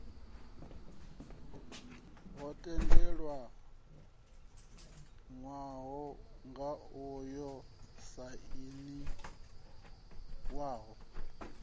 ho tendelanwaho ngao yo sainiwaho